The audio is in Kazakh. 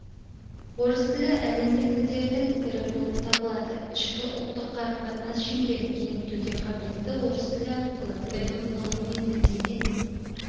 орыс тілі әлемдік тілдердің бірі болып табылады ішкі ұлттық-қарым-қатынас шеңберін кеңейтуге қабілетті орыс тілі арқылы білім ғылым мен мәдениет